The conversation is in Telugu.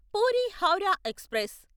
పూరి హౌరా ఎక్స్ప్రెస్